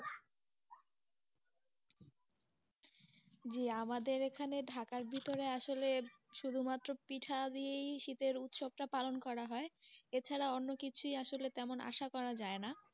জি আমাদের এখানে ঢাকার ভিতরে আসলে শুধুমাত্র পিঠা দিয়েই শীতের উৎসব টা পালন করা হয়, এছাড়া অন্য কিছুই আসলে তেমন কিছুই আসা করা যাই না.